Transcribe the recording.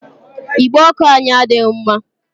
Igbe ọkụ anyị adịghị mma.